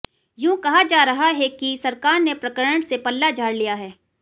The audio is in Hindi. यूं कहा जा रहा है कि सरकार ने प्रकरण से पल्ला झाड़ लिया है